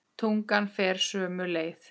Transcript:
Tungan fer sömu leið.